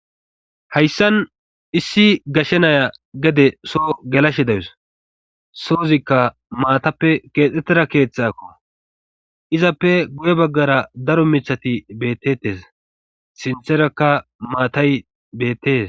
Hayssan issi gashshe naya gede soo gelashe dayus sozikka maatappe keexxetteda keethxakko izappe guye baggara daro michati beettettes sintherakka maatay beettees.